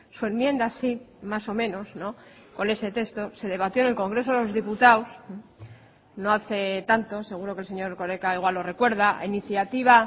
su enmienda sí más o menos con ese texto se debatió en el congreso de los diputados no hace tanto seguro que el señor erkoreka igual lo recuerda a iniciativa